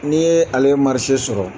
N'i ye ale sɔrɔ